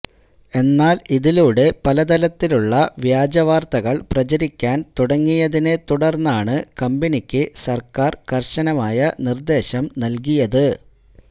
എന്നാൽ ഇതിലൂടെ പലതരത്തിലുള്ള വ്യാജവാർത്തകൾ പ്രചരിക്കാൻ തുടങ്ങിതിനെ തുടർന്നാണ് കമ്പനിക്ക് സർക്കാർ കർശനമായ നിർദ്ദേശം നൽകിയത്